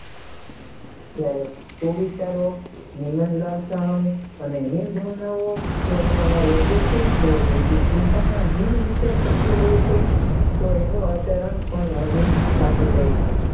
ક્યારેક કોવિચાર હિંમતલાલ થવાને અને હિંદ જો વ્યક્તિ ચિંતાના હીન વિશે કબજો લે છે તો એનો અવતરણ પણ અહીન થાતું જાય છે